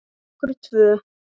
Fyrir okkur tvö.